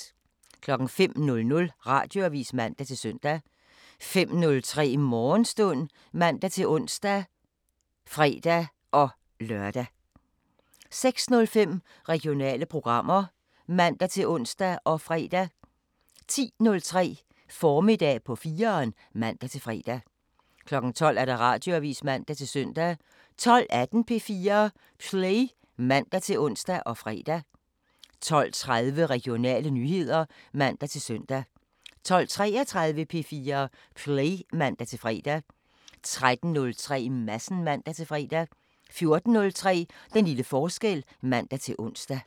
05:00: Radioavisen (man-søn) 05:03: Morgenstund (man-ons og fre-lør) 06:05: Regionale programmer (man-ons og fre) 10:03: Formiddag på 4'eren (man-fre) 12:00: Radioavisen (man-søn) 12:18: P4 Play (man-ons og fre) 12:30: Regionale nyheder (man-søn) 12:33: P4 Play (man-fre) 13:03: Madsen (man-fre) 14:03: Den lille forskel (man-ons)